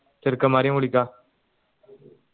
ചേർക്കന്മാരയും വിളിക